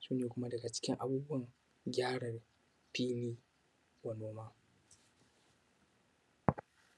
shi ne kuma daga cikin abubuwan da za ka yi don gyaran filin noma.